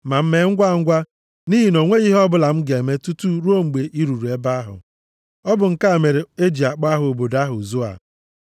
Ma mee ngwangwa, nʼihi na o nweghị ihe ọbụla m ga-eme tutu ruo mgbe i ruru nʼebe ahụ.” (Ọ bụ nke a mere e ji akpọ aha obodo ahụ Zoa.)